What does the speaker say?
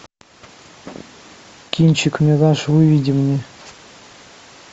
кинчик мираж выведи мне